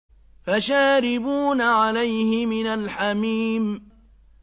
فَشَارِبُونَ عَلَيْهِ مِنَ الْحَمِيمِ